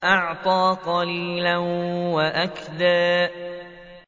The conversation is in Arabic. وَأَعْطَىٰ قَلِيلًا وَأَكْدَىٰ